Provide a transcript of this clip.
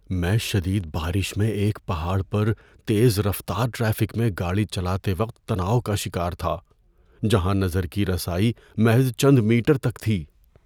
میں شدید بارش میں ایک پہاڑ پر تیز رفتار ٹریفک میں گاڑی چلاتے وقت تناؤ کا شکار تھا جہاں نظر کی رسائی محض چند میٹر تک تھی۔